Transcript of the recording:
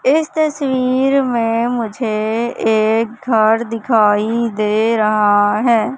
इस तस्वीर में मुझे एक घर दिखाई दे रहा हैं।